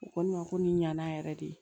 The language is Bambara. U ko ne ma ko ni ɲana yɛrɛ de